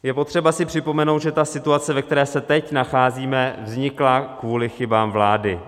Je potřeba si připomenout, že ta situace, ve které se teď nacházíme, vznikla kvůli chybám vlády.